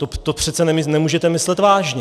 To přece nemůžete myslet vážně!